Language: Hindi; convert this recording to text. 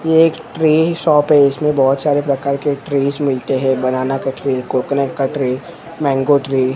ये एक ट्री शॉप है इसमें बहोत सारे प्रकार के ट्रिज मिलते हैं बनाना का ट्री कोकोनट का ट्री मैंगो ट्री --